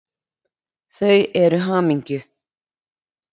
Þau eru hamingju